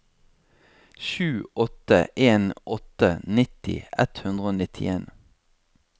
sju åtte en åtte nitti ett hundre og nittien